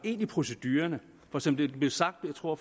ind i procedurerne for som det blev sagt jeg tror at